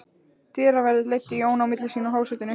Dyraverðir leiddu Jón á milli sín að hásætinu.